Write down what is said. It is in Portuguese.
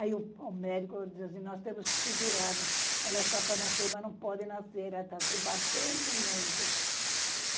Aí o médico disse assim, nós temos que segurar, ela está para nascer, mas não pode nascer, ela está se batendo muito.